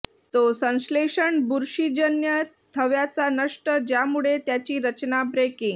तो संश्लेषण बुरशीजन्य थव्याचा नष्ट ज्यामुळे त्याची रचना ब्रेकिंग